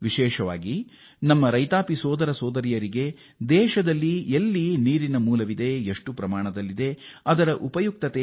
ಅದರಲ್ಲೂ ರೈತ ಸೋದರ ಸೋದರಿಯರಿಗೆ ನಮ್ಮ ಹೊಸ ಉಪಗ್ರಹ ಕಾರ್ಟೋ ಸ್ಯಾಟ್ 2 ಡಿ ಅತ್ಯಂತ ಉಪಯುಕ್ತವಾಗಿದೆ